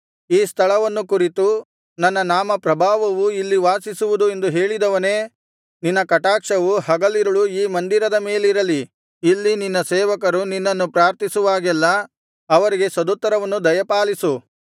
ಈ ಸ್ಥಳವನ್ನು ಕುರಿತು ನನ್ನ ನಾಮಪ್ರಭಾವವು ಇಲ್ಲಿ ವಾಸಿಸುವುದು ಎಂದು ಹೇಳಿದವನೇ ನಿನ್ನ ಕಟಾಕ್ಷವು ಹಗಲಿರುಳು ಈ ಮಂದಿರದ ಮೇಲಿರಲಿ ಇಲ್ಲಿ ನಿನ್ನ ಸೇವಕರು ನಿನ್ನನ್ನು ಪ್ರಾರ್ಥಿಸುವಾಗೆಲ್ಲಾ ಅವರಿಗೆ ಸದುತ್ತರವನ್ನು ದಯಪಾಲಿಸು